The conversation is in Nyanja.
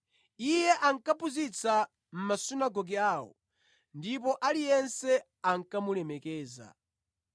Iye ankaphunzitsa mʼmasunagoge awo, ndipo aliyense ankamulemekeza.